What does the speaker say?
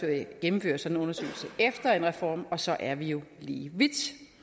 gennemfører sådan en undersøgelse efter en reform og så er vi jo lige vidt